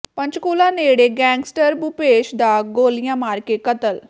ਪੰਚਕੂਲਾ ਨੇੜੇ ਗੈਂਗਸਟਰ ਭੂਪੇਸ਼ ਦਾ ਗੋਲੀਆਂ ਮਾਰ ਕੇ ਕਤਲ